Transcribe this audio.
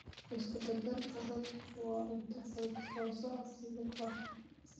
Isku darka raadku waa cunto fudud oo socod lug ah.